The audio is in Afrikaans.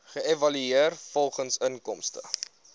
geëvalueer volgens inkomste